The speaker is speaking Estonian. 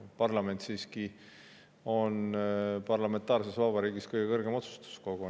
Parlament on parlamentaarses vabariigis siiski kõige kõrgem otsustuskogu.